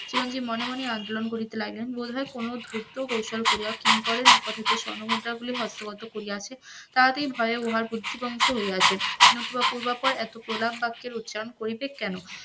চিরঞ্জিব মনে মনে আবলন করিতে লাগিলেন বলিলেন কোন ধুর্ত কৌশল করিয়া কিঙ্করের উপার্জিত স্বর্ণমুদ্রাগুলি হস্তোগত করিয়াছে, তাহাতে উহার বুদ্ধি ভ্রংশ হইয়াছে, নতুন এত প্রলাপ বাক্যের উচ্চারণ করিবে কেন?